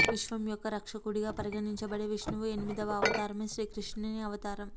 విశ్వం యొక్క రక్షకుడిగా పరిగణించబడే విష్ణువు ఎనిమిదవ అవతారమే శ్రీకృష్ణుని అవతారం